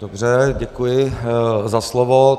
Dobře, děkuji za slovo.